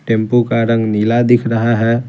Tempo का रंग नीला दिख रहा है।